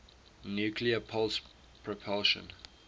nuclear pulse propulsion